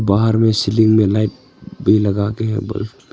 बाहर में सीलिंग में लाइट भी लगाके है बल्ब --